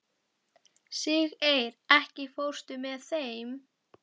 Siggeir, ekki fórstu með þeim?